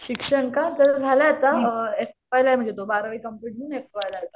शिक्षण का पूर्ण झालाय आता अ एफवाय ला आहे म्हणजे तो बारावी कंप्लेंट होऊन एफवायला आहे तो आत्ता